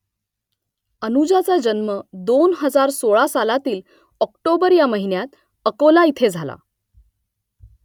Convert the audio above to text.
अनुजाचा जन्म दोन हजार सोळा सालातील ऑक्टोबर ह्या महिन्यात अकोला इथे झाला